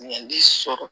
Ɲinɛnni sɔrɔ